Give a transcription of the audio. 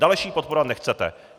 Další podporovat nechcete.